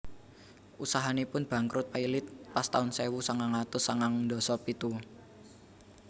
Usahanipun bangkrut pailit pas taun sewu sangang atus sangang ndasa pitu